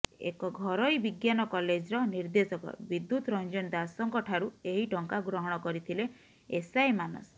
ଏକ ଘରୋଇ ବିଜ୍ଞାନ କଲେଜର ନିର୍ଦ୍ଦେଶକ ବିଦ୍ୟୁତ୍ ରଞ୍ଜନ ଦାସଙ୍କଠାରୁ ଏହି ଟଙ୍କା ଗ୍ରହଣ କରିଥିଲେ ଏସ୍ଆଇ ମାନସ